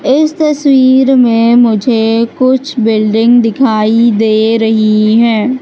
इस तस्वीर में मुझे कुछ बिल्डिंग दिखाई दे रही है।